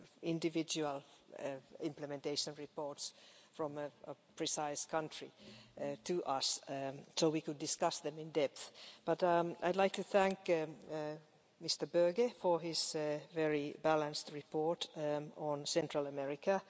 individual implementation reports from a precise country to us so we could discuss them in depth, but I'd like to thank Mr Böge for his very balanced report on Central America.